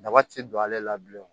Daba ti don ale la bilen